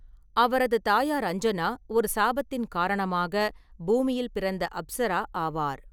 அவரது தாயார் அஞ்சனா ஒரு சாபத்தின் காரணமாக பூமியில் பிறந்த அப்சரா ஆவார்.